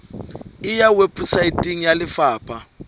e ya weposaeteng ya lefapha